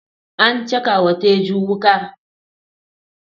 An caka wa Teju wuka.